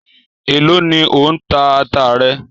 Èló ni ò ń ta ata rẹ?